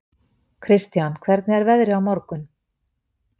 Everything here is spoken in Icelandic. Kristian, hvernig er veðrið á morgun?